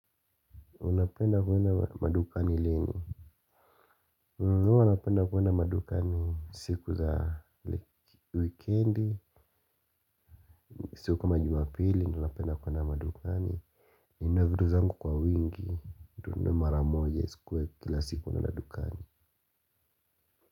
Unapenda kwenda madukani lini. Huwa napenda kwenda madukani siku za wikendi siku kama jumapili, ndio napenda kwenda madukani. Ninunue vitu zangu kwa wingi, ninunue mara moja isikuwe kila siku naenda dukani.